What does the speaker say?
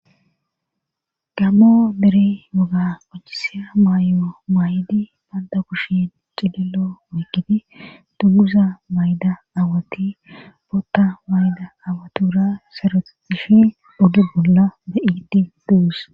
gammo meri muga qocchisiya maayo maaydi banta kushi cilillo mukidi duguza mayda awati bootta mayda awatura sere ishin oddu bolla be7iidi duus